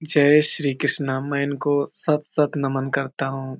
जय श्री कृस्ना मैं इनको सत सत नमन करता हु।